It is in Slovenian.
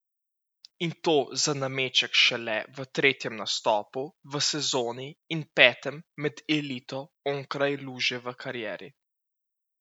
In to za nameček šele v tretjem nastopu v sezoni in petem med elito onkraj luže v karieri.